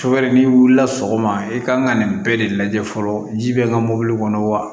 So wɛrɛ n'i wulila sɔgɔma i kan ka nin bɛɛ de lajɛ fɔlɔ ji bɛ n ka mobili kɔnɔ wa